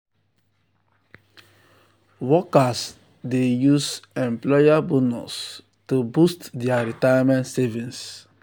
workers dey workers dey use employer bonus to boost their retirement savings.